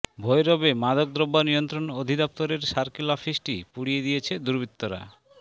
ভৈরবে মাদকদ্রব্য নিয়ন্ত্রণ অধিদফতরের সার্কেল অফিসটি পুড়িয়ে দিয়েছে দুর্বৃত্তরা